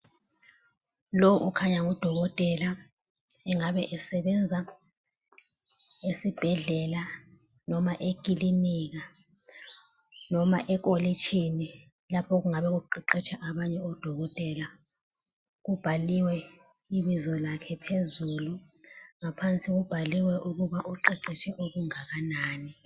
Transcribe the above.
Lowu ukhanya ngudokotela engabe esebenza esibhedlela noma ekilinika noma ekolijini lapho okungaba kuqeqetsha abanye odokotela. Kubhaliwe ibizo lakhe phezulu. Ngaphansi kubhaliwe ukuba uqeqetshe okungakanani